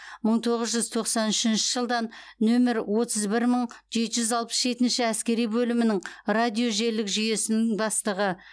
мың тоғыз жүз тоқсан үшінші жылдан нөмір отыз бір мың жеті жүз алпыс жетінші әскери бөлімнің радожелілік жүйесінің бастығы